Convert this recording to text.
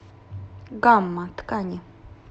гамма ткани